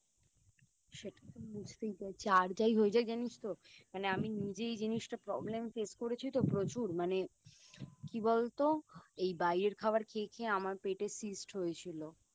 সেটা তো বুঝতেই পারছি আর যাই হয়ে যাক জানিস তো মানে আমি নিজেই এই জিনিসটা Problem face করেছি তো প্রচুর মানে কি বলতো এই বাইরের খাবার খেয়ে খেয়ে আমার পেটে Cyst হয়েছিল